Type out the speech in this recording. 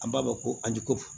An b'a fɔ ko alikofo